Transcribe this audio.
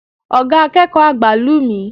Oga akeeko agba lu mi